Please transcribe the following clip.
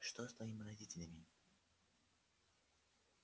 что с твоими родителями